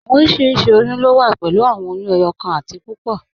Awọn oriṣiríṣi oyún lo wà pẹ̀lú awọn oyún ẹyọkan àti púpọ́.